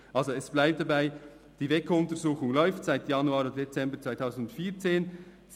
Also, es bleibt dabei, die WEKO-Untersuchung läuft seit Januar oder Dezember 2014.